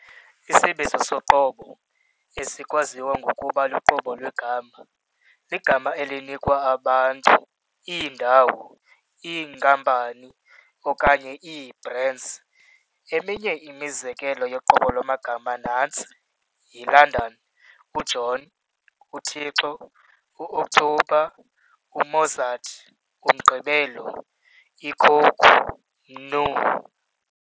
Isibizo soqobo, esikwabizwa ngokuba luqobo lwegama, ligama elinikwa abantu, iindawo, iinkampani, okanye ii-brands. Eminye imizekelo yoqobo lwamagama nantsi - "yi-London, u-John, u-Thixo, u-OKthobha, u-Mozart, umgqibelo, i-Coke, Mnu.